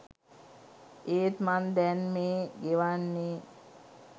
ඒත් මං දැන් මේ ගෙවන්නෙ